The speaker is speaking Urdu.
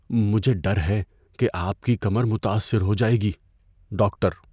مجھے ڈر ہے کہ آپ کی کمر متاثر ہو جائے گی۔ (ڈاکٹر)